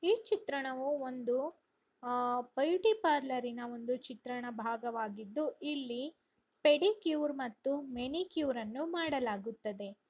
ಈ ಚಿತ್ರಣವು ಒಂದು ಆ- ಬ್ಯೂಟಿ ಪರ್ಲ್‌ನ್ನ ಒಂದು ಚಿತ್ರಣದ ಭಾಗವಾಗಿದ್ದುಇಲ್ಲಿ ಪೆಡಿಕ್ಯೂರ್‌ ಮತ್ತು ಮೆನಿಕ್ಯೂರ್‌ ಅನ್ನು ಮಾಡಲಾಗುತ್ತದೆ.